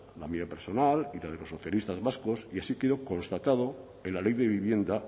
la mía personal y la de los socialistas vascos y así quedó constatado en la ley de vivienda